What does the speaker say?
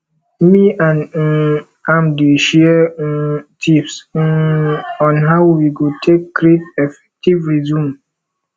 me and um am dey share um tips um on how we go take create effective resume